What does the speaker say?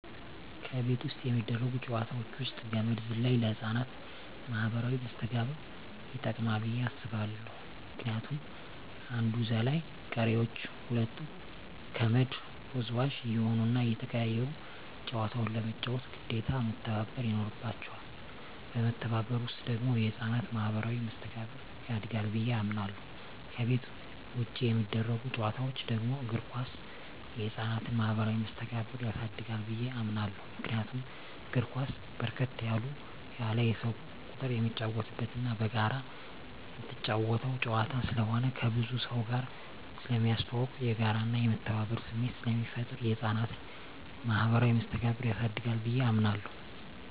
ከቤት ውስጥ የሚደረጉ ጨዋታወች ውስጥ ገመድ ዝላይ ለህፃናት ማኀበራዊ መስተጋብር ይጠቅማ ብየ አስባለሁ ምክንያቱም አንዱ ዘላይ ቀሪወች ሁለቱ ከመድ ወዝዋዥ እየሆኑና እየተቀያየሩ ጨዋታውን ለመጫወት ግዴታ መተባበር ይኖርባቸዋል በመተባበር ውስጥ ደግሞ የህፃናት ማኋበራዊ መስተጋብር ያድጋል ብየ አምናለሁ። ከቤት ውጭ የሚደረጉ ጨዋታወች ደግሞ እግር ኳስ የህፃናትን ማህበራዊ መስተጋብር ያሳድጋል ብየ አምናለሁ። ምክንያቱም እግር ኳስ በርከት ያለ የሰው ቁጥር የሚጫወትበትና በጋራ ምትጫወተው ጨዋታ ስለሆነ ከብዙ ሰውጋር ስለሚያስተዋውቅ፣ የጋራና የመተባበር ስሜት ስለሚፈጥር የህፃናትን ማኀበራዊ መስተጋብር ያሳድጋል ብየ አምናለሁ።